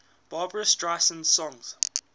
barbra streisand songs